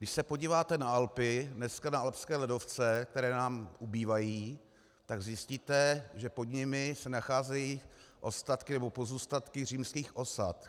Když se podíváte na Alpy, dneska na alpské ledovce, které nám ubývají, tak zjistíte, že pod nimi se nacházejí ostatky, nebo pozůstatky římských osad.